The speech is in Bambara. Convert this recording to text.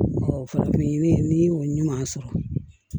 farafin ni ɲuman sɔrɔ